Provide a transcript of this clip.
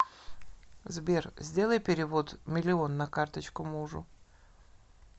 сбер сделай перевод миллион на карточку мужу